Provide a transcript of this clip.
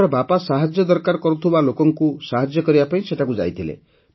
ତାଙ୍କର ବାପା ସାହାଯ୍ୟ ଦରକାର ହେଉଥିବା ଲୋକଙ୍କୁ ସାହାଯ୍ୟ କରିବା ପାଇଁ ସେଠାକୁ ଯାଇଥିଲେ